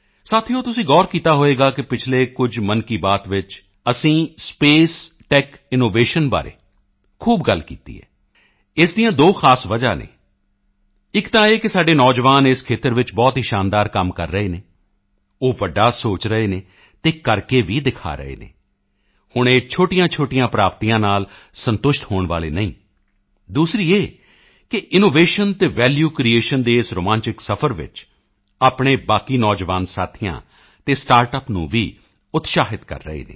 ਸਾਥੀਓ ਤੁਸੀਂ ਗੌਰ ਕੀਤਾ ਹੋਵੇਗਾ ਕਿ ਪਿਛਲੇ ਕੁਝ ਮਨ ਕੀ ਬਾਤ ਵਿੱਚ ਅਸੀਂ ਸਪੇਸ ਟੈੱਕ ਇਨੋਵੇਸ਼ਨ ਬਾਰੇ ਖੂਬ ਗੱਲ ਕੀਤੀ ਹੈ ਇਸ ਦੀਆਂ ਦੋ ਖਾਸ ਵਜ੍ਹਾ ਹਨ ਇੱਕ ਤਾਂ ਇਹ ਕਿ ਸਾਡੇ ਨੌਜਵਾਨ ਇਸ ਖੇਤਰ ਵਿੱਚ ਬਹੁਤ ਹੀ ਸ਼ਾਨਦਾਰ ਕੰਮ ਕਰ ਰਹੇ ਹਨ ਉਹ ਵੱਡਾ ਸੋਚ ਰਹੇ ਹਨ ਅਤੇ ਕਰਕੇ ਵੀ ਦਿਖਾ ਰਹੇ ਹਨ ਹੁਣ ਇਹ ਛੋਟੀਆਂਛੋਟੀਆਂ ਪ੍ਰਾਪਤੀਆਂ ਨਾਲ ਸੰਤੁਸ਼ਟ ਹੋਣ ਵਾਲੇ ਨਹੀਂ ਹਨ ਦੂਸਰੀ ਇਹ ਕਿ ਇਨੋਵੇਸ਼ਨ ਅਤੇ ਵੈਲਿਊ ਕ੍ਰਿਏਸ਼ਨ ਦੇ ਇਸ ਰੋਮਾਂਚਿਕ ਸਫ਼ਰ ਵਿੱਚ ਆਪਣੇ ਬਾਕੀ ਨੌਜਵਾਨ ਸਾਥੀਆਂ ਅਤੇ ਸਟਾਰਟਅੱਪ ਨੂੰ ਵੀ ਉਤਸ਼ਾਹਿਤ ਕਰ ਰਹੇ ਹਨ